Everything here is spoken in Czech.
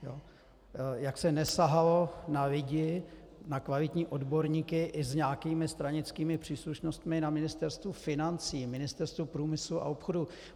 Jak se nesahalo na lidi, na kvalitní odborníky, i s nějakými stranickými příslušnostmi na Ministerstvu financí, Ministerstvu průmyslu a obchodu.